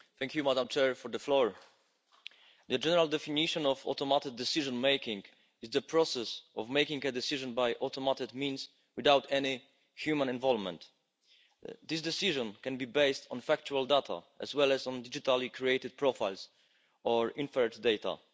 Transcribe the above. Madam President, the general definition of automated decision making is the process of making a decision by automated means without any human involvement. This decision can be based on factual data as well as on digitally created profiles or inferred data.